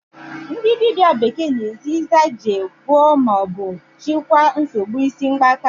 Ndị dibịa bekee na-eji Isanje gwọọ ma ọ bụ chịkwaa nsogbu isi mgbaka